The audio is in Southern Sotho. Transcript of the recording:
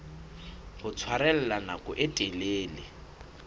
ho tshwarella nako e telele